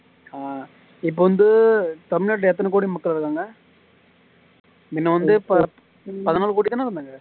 ஆஹ் இப்போ வந்து தமிழ் நாட்டுல எத்தனை கோடி மக்கள் இருகாங்க மின்ன வந்து பதியொரு கோடி தான இருந்தாங்க